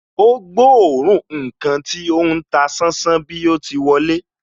Ó gbóòórùn ǹkan tí ó ń ta sánsán bí o ti wọlé